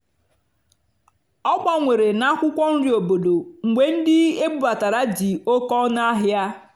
ọ́ gbànwèré nà ákwụ́kwọ́ nrì óbòdò mgbe ndí ébúbátàrá dì óké ónú n'àhịá.